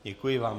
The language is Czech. Děkuji vám.